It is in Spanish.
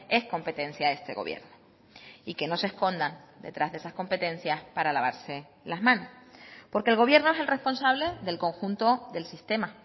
es competencia de este gobierno y que no se escondan detrás de esas competencias para lavarse las manos porque el gobierno es el responsable del conjunto del sistema